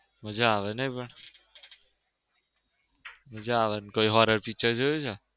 મજા આવે નઈ પણ. મજા આવે કોઈ horror picture જોયું છે?